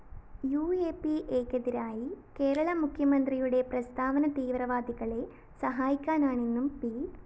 യുഎപിഎക്കെതിരായ കേരള മുഖ്യമന്ത്രിയുടെ പ്രസ്താവന തീവ്രവാദികളെ സഹായിക്കാനാണെന്നും പി